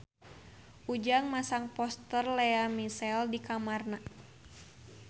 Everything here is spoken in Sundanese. Ujang masang poster Lea Michele di kamarna